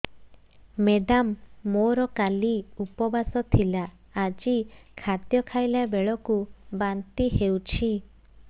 madam ମୋର କାଲି ଉପବାସ ଥିଲା ଆଜି ଖାଦ୍ୟ ଖାଇଲା ବେଳକୁ ବାନ୍ତି ହେଊଛି